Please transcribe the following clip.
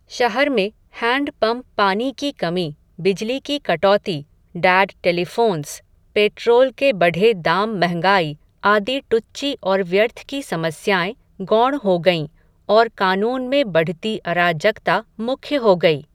शहर में हैण्डपंप पानी की कमी, बिजली की कटौती, डैड टेलीफ़ोन्स, पेट्रोल के बढे दाम मंहगाई, आदि टुच्ची और व्यर्थ की समस्याएं, गौण हो गईं, और कानून में बढती अराजकता मुख्य हो गई